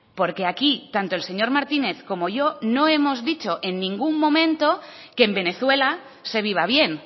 porque aquí tanto el señor martínez como yo no hemos dicho en ningún momento que en venezuela se viva bien